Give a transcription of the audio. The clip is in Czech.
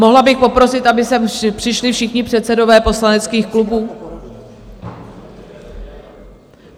Mohla bych poprosit, aby sem přišli všichni předsedové poslaneckých klubů?